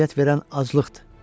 Ona əziyyət verən aclıqdır.